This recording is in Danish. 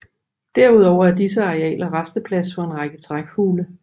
Derudover er disse arealer rasteplads for en række trækfugle